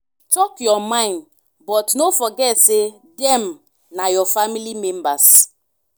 talk your mind but no forget say dem na your family members.